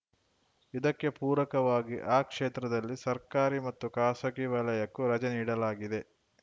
ಇದಕ್ಕೆ ಪೂರಕವಾಗಿ ಆ ಕ್ಷೇತ್ರದಲ್ಲಿ ಸರ್ಕಾರಿ ಮತ್ತು ಖಾಸಗಿ ವಲಯಕ್ಕೂ ರಜೆ ನೀಡಲಾಗಿದೆ